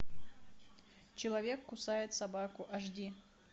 человек кусает собаку аш ди